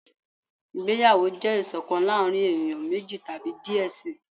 ìgbéyàwó jẹ iṣọkan láàrin eniyan meji tabi diẹ sii.